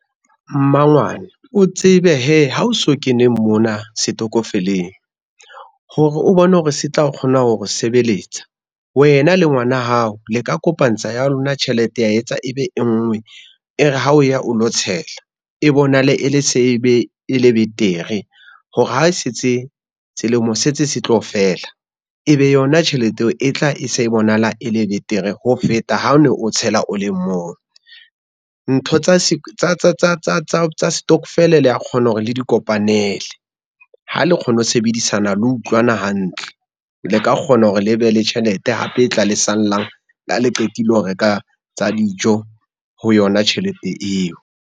Mmangwane o tsebe hee ha o so kene mona setokofeleng, hore o bone hore se tla kgona hore sebeletsa, wena le ngwana hao le ka kopantsha ya lona tjhelete ya etsa ebe e ngwe, e re ha o ya o lo tshela e bonahale e le betere hore ha se tse selemo se tse se tlo fela, e be yona tjhelete eo e tla e se e bonahala e le betere ho feta ha o no o tshela o le mong. Ntho tsa stokofele le a kgona hore le di kopanele ha le kgone ho sebedisana le utlwana hantle, le ka kgona hore le be le tjhelete hape e tla lesalang la le qetile ho reka tsa dijo ho yona tjhelete eo.